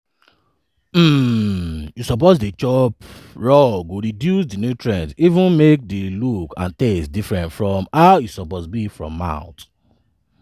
um you suppose chop raw go reduce di nutrient even make di look and taste different from how e suppose be for mouth.